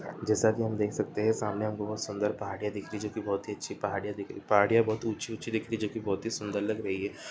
जैसा की हम देख सकते है सामने बहुत सुन्दर पहाड़ियाँ दिख रही है जो की बहुत ही अच्छी पहाड़ियाँ दिख रही-- पहाड़ियाँ बहुत ही ऊंची - ऊंची दिख रही जो कि बहुत ही सुन्दर लग रही है।